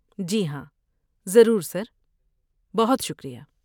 جی ہاں، ضرور، سر، بہت شکریہ۔